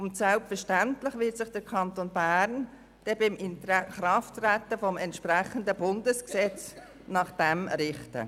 Selbstverständlich wird sich der Kanton Bern nach dem Inkrafttreten eines entsprechenden Bundesgesetzes nach diesem richten.